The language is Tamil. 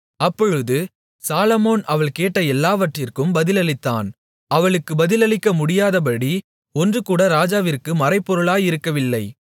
அப்பொழுது சாலொமோன் அவள் கேட்ட எல்லாவற்றிக்கும் பதிலளித்தான் அவளுக்கு பதிலளிக்க முடியாதபடி ஒன்றுகூட ராஜாவிற்கு மறைபொருளாயிருக்கவில்லை